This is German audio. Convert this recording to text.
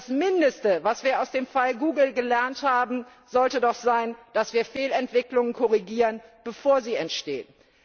Das mindeste, was wir aus dem Fall Google gelernt haben, sollte doch sein, dass wir Fehlentwicklungen korrigieren sollten, bevor sie entstehen.